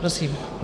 Prosím.